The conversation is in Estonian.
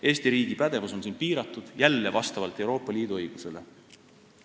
Eesti riigi pädevus on siin piiratud, jälle Euroopa Liidu õiguse kohaselt.